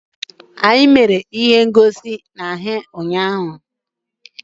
Anyị mere ejije ahụ ụnyaahụ.